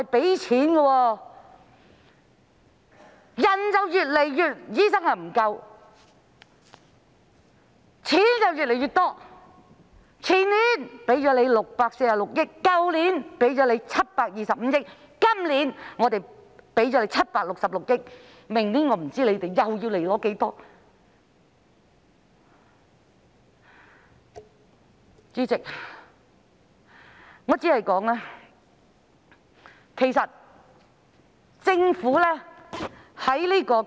醫生越來越不足，撥款卻越來越多，前年撥款646億元，去年撥款725億元，今年撥款766億元，我不知道明年醫管局又會申請多少撥款。